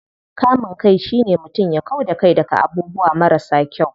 Kamun kai shine mutum ya kau da kai daga abubuwa marasa kyau.